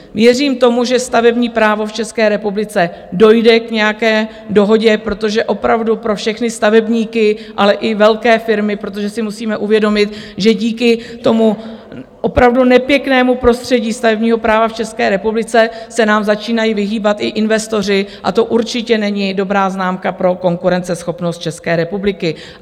Věřím tomu, že stavební právo v České republice dojde k nějaké dohodě, protože opravdu pro všechny stavebníky, ale i velké firmy, protože si musíme uvědomit, že díky tomu opravdu nepěknému prostředí stavebního práva v České republice se nám začínají vyhýbat i investoři, a to určitě není dobrá známka pro konkurenceschopnost České republiky.